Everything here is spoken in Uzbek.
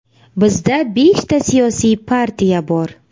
Bizda beshta siyosiy partiya bor.